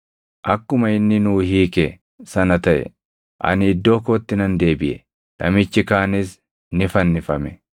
Akkuma inni nuu hiike sana taʼe; ani iddoo kootti nan deebiʼe; namichi kaanis ni fannifame.”